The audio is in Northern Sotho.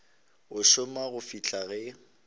a šoma go fihla ge